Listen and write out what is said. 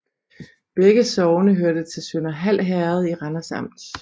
Begge sogne hørte til Sønderhald Herred i Randers Amt